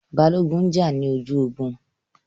Balógun n jà ní ojú ogun